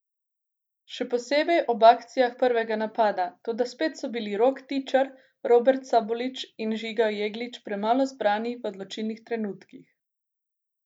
Še posebej ob akcijah prvega napada, toda spet so bili Rok Tičar, Robert Sabolič in Žiga Jeglič premalo zbrani v odločilnih trenutkih.